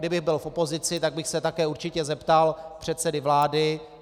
Kdybych byl v opozici, tak bych se také určitě zeptal předsedy vlády.